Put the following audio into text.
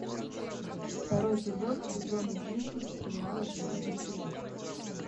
второй эпизод сезона десять сериала железный кулак